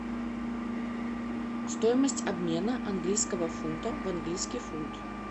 стоимость обмена английского фунта в английский фунт